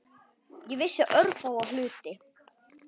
Ég vissi örfáa hluti.